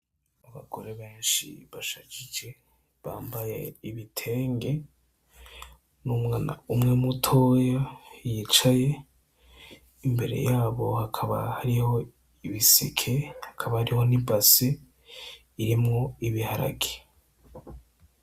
Abagore benshi bashajije, bambaye ibitenge. Umu mama umwe mutoyi yicaye imbere yabo hakaba hariho ibiseke, hakaba hariho n'ibase irimwo ibiharage.